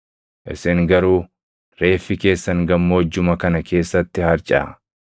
Isin garuu, reeffi keessan gammoojjuma kana keessatti harcaʼa.